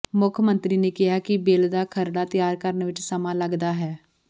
ਮੁੱਖ ਮੰਤਰੀ ਨੇ ਕਿਹਾ ਕਿ ਬਿਲ ਦਾ ਖਰੜਾ ਤਿਆਰ ਕਰਨ ਵਿਚ ਸਮਾਂ ਲੱਗਦਾ ਹੈ